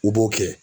U b'o kɛ